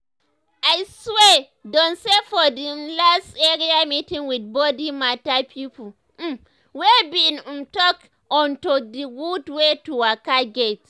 i swear down say for the um last area meeting with body matter pipo um we bin um talk onto d gud wey to waka get.